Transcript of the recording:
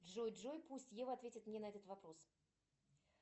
джой джой пусть ева ответит мне на этот вопрос